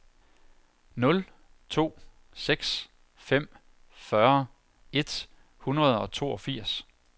nul to seks fem fyrre et hundrede og toogfirs